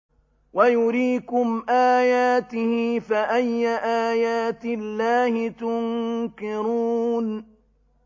وَيُرِيكُمْ آيَاتِهِ فَأَيَّ آيَاتِ اللَّهِ تُنكِرُونَ